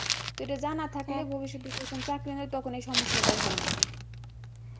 তো এটা জানা থাকলে ভবিষ্যতে যখন কোন চাকরি নেই তখন এই সমস্যাটা আর হয় না